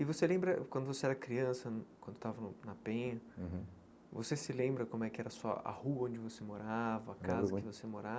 E você lembra, quando você era criança hum, quando estava na Penha, você se lembra como é que era a sua a rua onde você morava, a casa que você